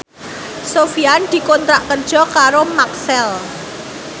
Sofyan dikontrak kerja karo Maxell